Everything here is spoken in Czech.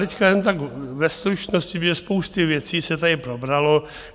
Teď jen tak ve stručnosti, protože spousty věcí se tady probralo.